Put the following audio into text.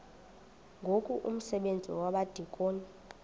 ngoku umsebenzi wabadikoni